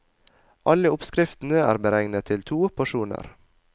Alle oppskriftene er beregnet til to porsjoner.